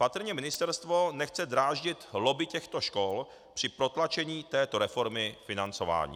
Patrně ministerstvo nechce dráždit lobby těchto škol při protlačení této reformy financování.